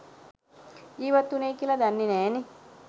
ජීවත් වුණේ කියලා දන්නේ නෑනේ.